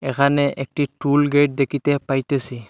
এখানে একটি টুলগেট দেখিতে পাইতেসি।